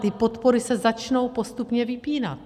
Ty podpory se začnou postupně vypínat.